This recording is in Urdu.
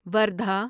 وردھا